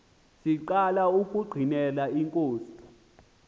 siqala ukungqinela inkosi